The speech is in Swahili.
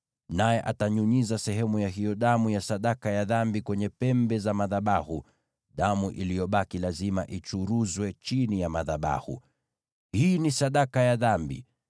naye atanyunyiza sehemu ya hiyo damu ya sadaka ya dhambi kwenye pembe za madhabahu. Damu iliyobaki lazima ichuruzwe chini ya madhabahu. Hii ni sadaka ya dhambi.